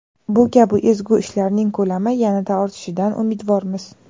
Bu kabi ezgu ishlarning ko‘lami yanada ortishidan umidvormiz.